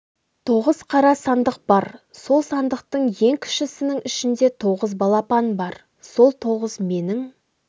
тоғыз қара сандық бар сол сандықтың ең кішісінің ішінде тоғыз балапан бар сол тоғыз менің